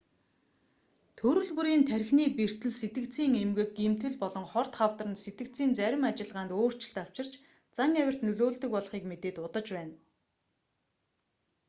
төрөл бүрийн тархины бэртэл сэтгэцийн эмгэг гэмтэл болон хорт хавдар нь сэтгэцийн зарим ажиллагаанд өөрчлөлт авчирч зан авирт нөлөөлдөг болохыг мэдээд удаж байна